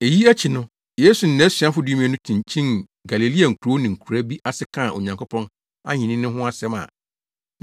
Eyi akyi no, Yesu ne nʼasuafo dumien no kyinkyinii Galilea nkurow ne nkuraa bi ase kaa Onyankopɔn ahenni no ho asɛm a,